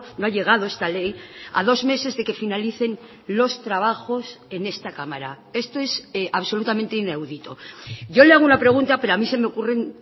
no ha llegado esta ley a dos meses de que finalicen los trabajos en esta cámara esto es absolutamente inaudito yo le hago una pregunta pero a mí se me ocurren